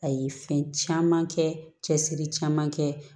A ye fɛn caman kɛ cɛsiri caman kɛ